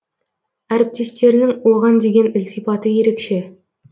әріптестерінің оған деген ілтипаты ерекше